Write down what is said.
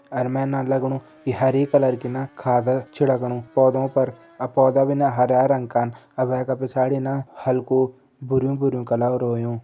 अर मैं न लगणु इ हरी कलर की न खाद चिड़कणु पौधों पर अ पौधा भी न हरयां रंग कन आर वैका पिछाड़ी न हल्कु भुरु भुरु कलर होयुं।